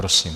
Prosím.